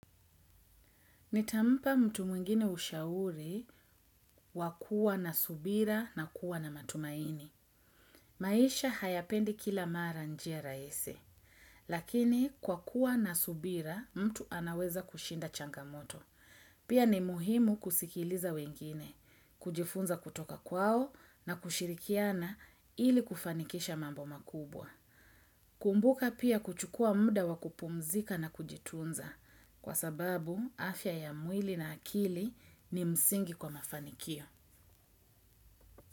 Nitampa mtu mwingine ushauri, wakua na subira na kuwa na matumaini. Maisha hayapendi kila maranjia raisi. Lakini, kwa kuwa na subira, mtu anaweza kushinda changamoto. Pia ni muhimu kusikiliza wengine. Kujifunza kutoka kwao na kushirikiana ili, kufanikisha mambo makubwa. Kumbuka pia, kuchukua muda wakupumzika na kujitunza. Kwa sababu, afya ya mwili na akili, ni msingi kwa mafanikio.